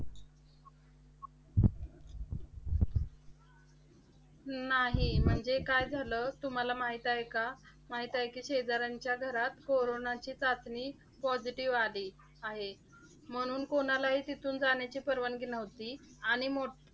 नाही. म्हणजे काय झाले, तुम्हाला माहित आहे का? माहित आहे कि शेजाऱ्यांच्या घरात कोरोनाची चाचणी positive आली आहे. म्हणून कोणालाही तिथून जाण्याची परवानगी नव्हती. आणि मोठ